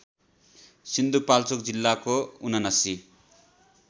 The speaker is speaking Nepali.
सिन्धुपाल्चोक जिल्लाको ७९